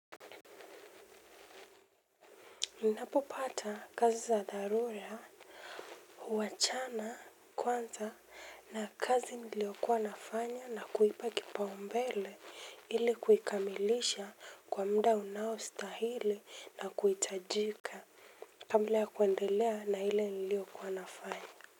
Ninapopata kazi za dharura, huachana, kwanza, na kazi niliokuwa nafanya na kuipa kipaumbele ili kuikamilisha kwa muda unaostahili na kuhitajika. Kabla ya kuendelea na ile niliokuwa nafanya.